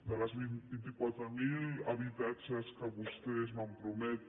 dels vint quatre mil habitatges que vostès van prometre